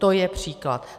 To je příklad.